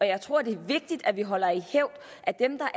jeg tror at det er vigtigt at vi holder i hævd at dem der